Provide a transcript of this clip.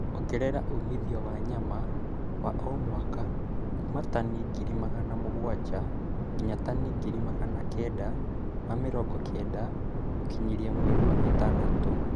Ongerera umithio wa nyama wa o mwaka kuuma tani ngiri magana mũgwanja nginya tani ngiri Magana kenda ma mĩrongo kenda gũkinyĩria mweri wa ĩtandatũ